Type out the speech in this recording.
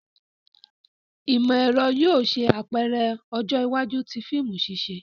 Imọ-ẹrọ yóò ṣe apẹrẹ ọjọ iwaju ti fiimu ṣiṣe.